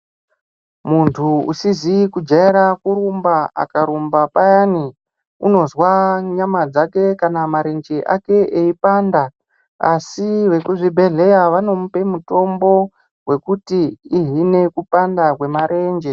Muntu usizi kujaira kurumba akarumba payani unozwa nyama dzake kana marenje ake eipanda. Asi vekuzvibhedhleya vanomupe mutombo vekuti ihine kupanda kwemarenje.